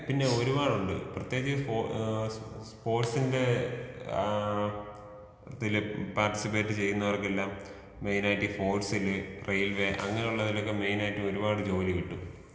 പിന്നെ ഒരുപാടുണ്ട് പ്രത്യേകിച്ചീ ഏ സ് സ്പോർട്സിന്റെ ആ ഇതിലെ പാര് ട്ടിസിപ്പേറ്റ് ചെയ്യുന്നവർക്കെല്ലാം മൈനായിട്ടീ ഫോഴ്സില് റെയിൽവേ അങ്ങനെയുള്ളതിലൊക്കെ മൈനായിട്ട് ഒരുപാട് ജോലി കിട്ടും.